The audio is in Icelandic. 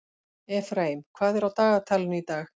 Efraím, hvað er á dagatalinu í dag?